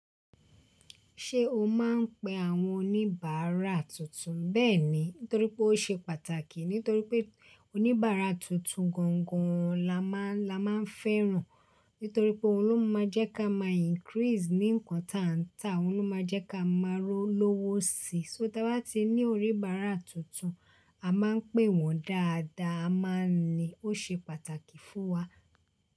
Ṣé o máa ń pe àwọn oníbàárà tuntun? Bẹ́ẹ̀ni, nítorí pé ó ṣe pàtàkì. Nítorí pé oníbàárà tuntun gangan la máa ń fẹ́ràn. Nítorí pé òhun ló máa jẹ́ ká máa increase ní ǹkan tá ń ta. Òun ló máa jẹ́ ká máa lọ́wọ́ sí i. So tí a bá ti ní oníbárà tuntun, a máa ń pè wọ́n dáadáa. A má ń ní, ó ṣe pàtàkì fún wa.